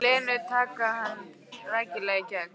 Lenu, taka hana rækilega í gegn.